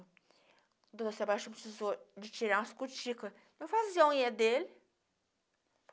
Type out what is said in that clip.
O Doutor Sebastião precisou de tirar umas cutículas para fazer a unha dele.